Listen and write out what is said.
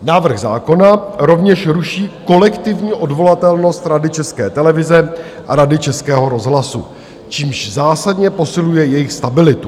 Návrh zákona rovněž ruší kolektivní odvolatelnost Rady České televize a Rady Českého rozhlasu, čímž zásadně posiluje jejich stabilitu.